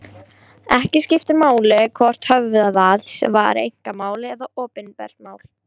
Ekki skiptir máli hvort höfðað var einkamál eða opinbert mál.